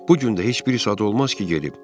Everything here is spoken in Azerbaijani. Bu gün də heç bir saat olmaz ki, gedib.